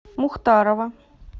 мухтарова